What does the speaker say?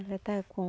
Ela está com